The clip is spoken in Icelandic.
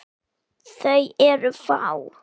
Þau eru fá.